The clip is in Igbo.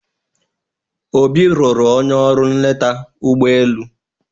Obi lụrụ onye ọrụ nleta ụgbọelu.